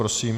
Prosím.